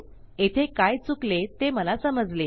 येथे काय चुकले ते मला समजले